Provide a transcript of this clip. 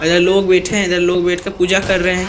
लोग बैठे हैं। इधर लोग बैठ के पूजा कर रहे हैं।